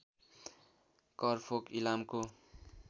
करफोक इलामको